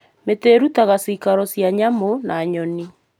Mĩtĩ ĩrutaga ciikaro cia nyamũ na nyoni.